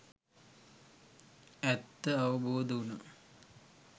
ඇත්ත අවබෝධ වුනා.